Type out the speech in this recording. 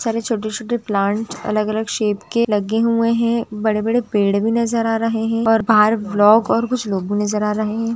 सारे छोटे छोटे प्लांट्स अलग अलग शेप के लगे हुए है बड़े बड़े पेड़ भी नज़र आ रहे है और बाहर ब्लॉग और कुछ लोग भी नज़र आ रहे है।